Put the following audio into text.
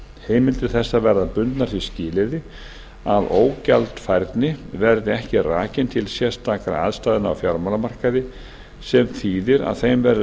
heimildir þessar verða bundnar því skilyrði að ógjaldfærni verði ekki rakin til sérstakra aðstæðna á fjármálamarkaði sem þýðir að þeim verður